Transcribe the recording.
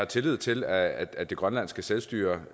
tillid til at at det grønlandske selvstyre